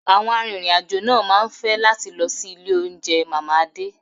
Àwọn arìnrìn-àjò máa ń fẹ́ láti lọ sí ilé oúnjẹ Mama Ade